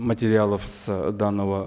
материалов с данного